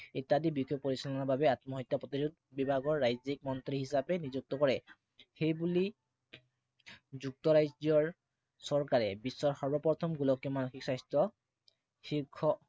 ইত্য়াদি বিষয় পৰিচালনাৰ বাবে আত্মহত্যা প্ৰতিৰোধ বিভাগৰ ৰাজ্য়িক মন্ত্ৰী হিচাপে নিযুক্ত কৰে। সেইবুলি যুক্তৰাজ্য়ৰ চৰকাৰে বিশ্বৰ সৰ্বপ্ৰথম গোলকীয় মানসিক স্বাস্থ্য় শীৰ্ষ